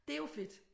Det er jo fedt